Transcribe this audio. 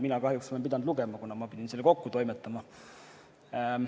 Mina kahjuks olen pidanud lugema, kuna pidin selle kokku toimetama.